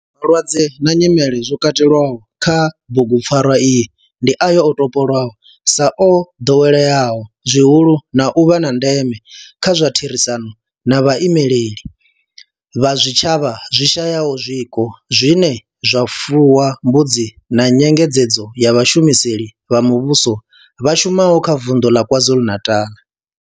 Malwadze na nyimele zwo katelwaho kha bugupfarwa iyi ndi ayo o topolwaho sa o ḓoweleaho zwihulu na u vha a ndeme nga kha therisano na vhaimeleli vha zwitshavha zwi shayaho zwiko zwine zwa fuwa mbudzi na nyengedzedzo ya vhashumeli vha muvhusho vha shumaho kha vunḓu la KwaZulu-Natal.